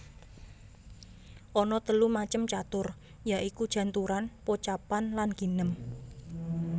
Ana telung macem catur ya iku janturan pocapan lan ginem